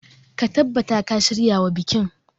Ka tabbata ka shiryawa bikin.